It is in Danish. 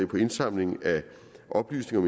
på indsamlingen af oplysninger